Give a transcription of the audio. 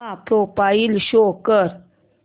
चा profile show कर